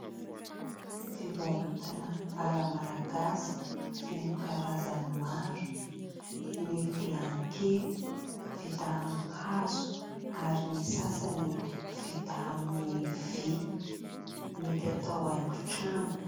Fivarotana ara-malagasy feno karazany maro, ny vilany kely vita amin'ny hazo ary ny sasany vita amin'ny vy, mety atao haingo-trano.